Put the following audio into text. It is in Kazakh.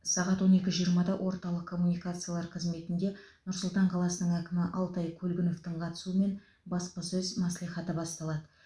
сағат он пекі жиырмада орталық коммуникациялар қызметінде нұр сұлтан қаласының әкімі алтай көлгіновтың қатысуымен баспасөз мәслихаты басталады